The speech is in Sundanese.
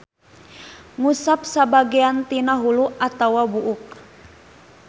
Ngusap sabagean tina hulu atawa buuk.